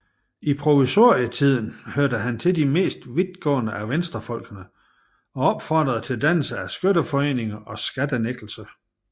I provisorietiden hørte han til de mest vidtgående af venstrefolkene og opfordrede til dannelse af skytteforeninger og skattenægtelse